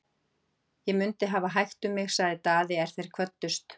Ég mundi hafa hægt um mig, sagði Daði er þeir kvöddust.